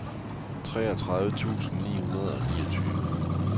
treogtredive tusind ni hundrede og niogtyve